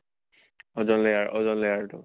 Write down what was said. Ozone layer অʼজন layer তো।